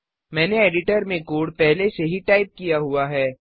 मैंने एडिटर में कोड पहले से ही टाइप किया हुआ है